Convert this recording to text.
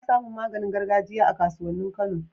Ana samin maganin gargajiya a kasuwanin kano